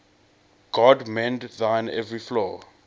god mend thine every flaw